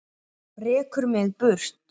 Rekur mig í burtu?